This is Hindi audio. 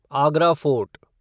आगरा फ़ोर्ट